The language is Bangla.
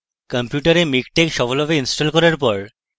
আপনার কম্পিউটারে miktex সফলভাবে ইনস্টল করার পরে